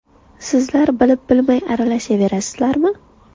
Sizlar bilib-bilmay aralashaverasizlarmi?